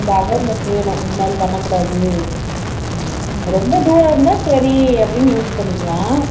அந்த awareness வேணும் இது மாதிரி பண்ண கூடாது ரொம்ப தூரம் உம் இருந்தா சரி அப்படின்னு use பண்ணிக்கலாம்